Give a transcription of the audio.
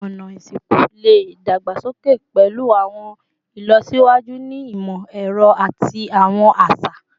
Awọn ọna isinku le dagbasoke pẹlu awọn ilọsiwaju ni imọ-ẹrọ ati awọn aṣa